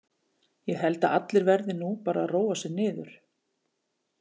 Ég held að allir verði nú bara að róa sig niður.